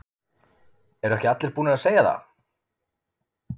Eru ekki allir búnir að segja það?